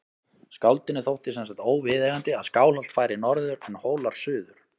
Skáldinu þótti sem sagt óviðeigandi að Skálholt færi norður en Hólar suður.